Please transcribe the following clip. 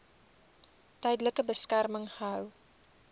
tydelike beskerming gehou